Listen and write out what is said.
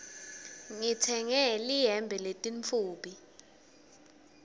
ngitsenge lihembe lelimtfubi